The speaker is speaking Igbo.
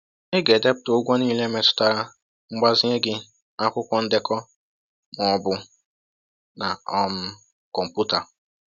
“Ị ga-edepụta ụgwọ niile metụtara mgbazinye gị n’akwụkwọ ndekọ ma ọ bụ na um kọmpụta.